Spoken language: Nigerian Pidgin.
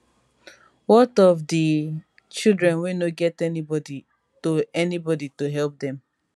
wat of di children wey no get anybody to anybody to help dem